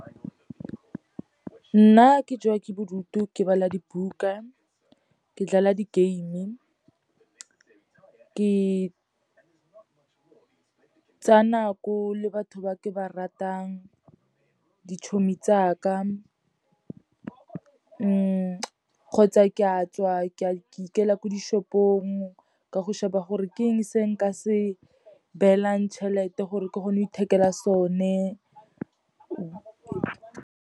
Nna ke jewa ke bodutu, ke bala dibuka, ke dlala di-game-e, ke tsaya nako le batho ba ke ba ratang, ditšhomi tsaka kgotsa ke a tswa, ke ikela ko di-shop-ong, ka go sheba gore ke eng se nka se beelang tšhelete gore ke kgone go ithekela sone.